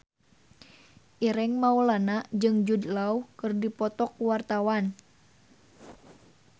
Ireng Maulana jeung Jude Law keur dipoto ku wartawan